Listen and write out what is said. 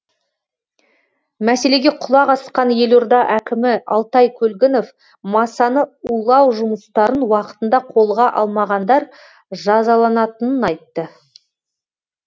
мәселеге құлақ асқан елорда әкімі алтай көлгінов масаны улау жұмыстарын уақытында қолға алмағандар жазаланатынын айтты